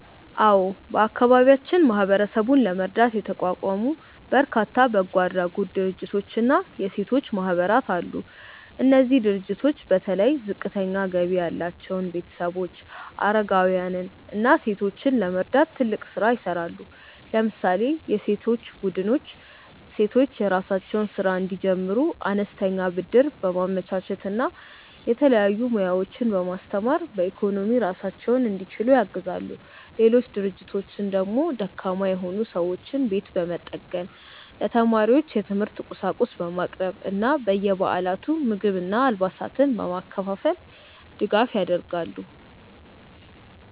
አዎ፣ በአካባቢያችን ማህበረሰቡን ለመርዳት የተቋቋሙ በርካታ በጎ አድራጎት ድርጅቶችና የሴቶች ማህበራት አሉ። እነዚህ ድርጅቶች በተለይ ዝቅተኛ ገቢ ያላቸውን ቤተሰቦች፣ አረጋውያንን እና ሴቶችን ለመርዳት ትልቅ ስራ ይሰራሉ። ለምሳሌ የሴቶች ቡድኖች ሴቶች የራሳቸውን ስራ እንዲጀምሩ አነስተኛ ብድር በማመቻቸት እና የተለያዩ ሙያዎችን በማስተማር በኢኮኖሚ ራሳቸውን እንዲችሉ ያግዛሉ። ሌሎች ድርጅቶች ደግሞ ደካማ የሆኑ ሰዎችን ቤት በመጠገን፣ ለተማሪዎች የትምህርት ቁሳቁስ በማቅረብ እና በየበዓላቱ ምግብና አልባሳትን በማከፋፈል ድጋፍ ያደርጋሉ።